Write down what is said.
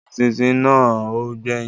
Eṣinṣin náà ò gbẹ́yìn